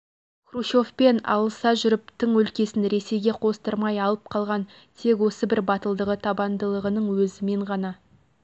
хрущевпен алыса жүріп тың өлкесін ресейге қостырмай алып қалған тек осы бір батылдығы табандылығының өзімен ғана